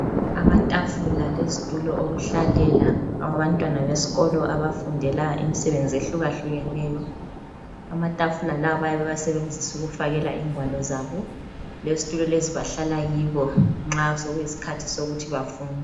Amatafula lezitulo okuhlalela abantwana besikolo abafundela imisebenzi ehlukahlukeneyo. Amatafula lawa bayabe bewasebenzisa ukufakela ingwalo zabo. Lezitulo lezi bahlala kibo nxa sekuyisikhathi sokuthi bafunde.